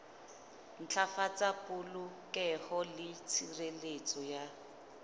ntlafatsa polokeho le tshireletso ya